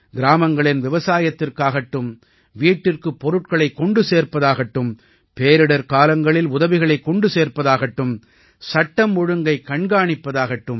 கிராமங்களின் விவசாயத்திற்காகட்டும் வீட்டிற்குப் பொருட்களைக் கொண்டு சேர்ப்பதாகட்டும் பேரிடர்க்காலங்களில் உதவிகளைக் கொண்டு சேர்ப்பதாகட்டும் சட்டம் ஒழுங்கைக் கண்காணிப்பதாகட்டும்